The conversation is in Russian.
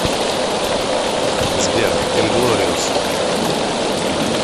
сбер инглориос